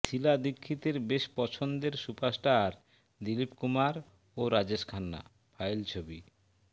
শীলা দীক্ষিতের বেশ পছন্দের সুপারস্টার দিলীপ কুমার ও রাজেশ খান্না ফাইল ছবি